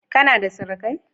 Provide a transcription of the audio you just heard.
Kana da surukai?